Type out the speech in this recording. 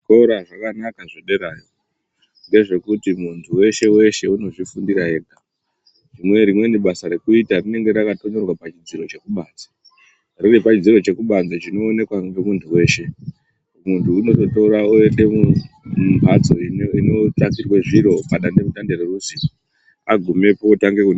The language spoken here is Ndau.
Zvikora zvakanaka zvederayo ngezvekuti mntu weshe weshe unozvifundira ega hino rimweni basa rEkuita rinenge rakatonyorwa pachidziro chekubanze riri pachidziro chekubanze chinooneka ngemuntu weshe Muntu unoritora oende mumhatso inogadzirwe zvire padande mutande reruzivo agumepo otange kunyo.